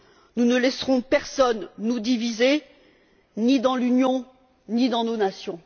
Nous ne laisserons personne nous diviser, ni dans l'Union ni dans nos nations.